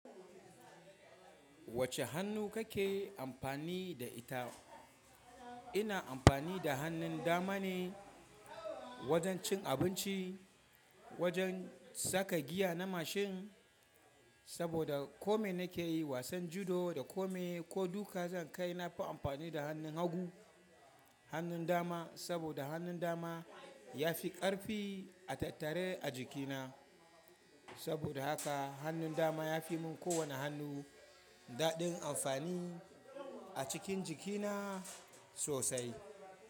Wacce hannu kake amfani da ita? Ina amfani da hannun dama ne wajen cin abinci, wajen saka giya na mashin, saboda kome nake yi, wasan judo da kome ko duka zan kai, na fi amfani da hannun hagu. Hannun dama saboda hannun dama ya fi ƙarfi a tattare a jikina. Saboda haka hannun dama ya fi mun kowane hannu daɗin amfani a cikin jikina sosai.